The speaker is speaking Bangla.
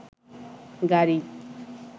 গাড়ি